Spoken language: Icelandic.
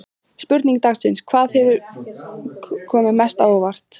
Spurning dagsins: Hvað hefur komið mest á óvart?